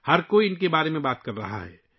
ہر کوئی ان کے بارے میں بات کر رہا ہے